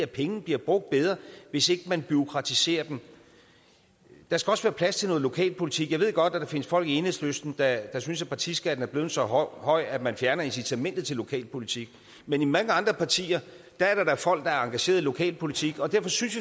pengene bliver brugt bedre hvis ikke man bureaukratiserer dem der skal også være plads til noget lokalpolitik jeg ved godt der findes folk i enhedslisten der synes at partiskatten er blevet så høj at man fjerner incitamentet til lokalpolitik men i mange andre partier er der folk der er engageret i lokalpolitik og derfor synes